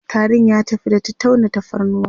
tarin ya tafi da ta tauna tafarnuwa